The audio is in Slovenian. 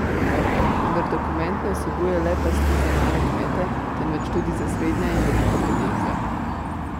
Vendar dokument ne vsebuje le pasti za male kmete, temveč tudi za srednja in velika podjetja.